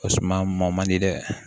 O suma maa ma man di dɛ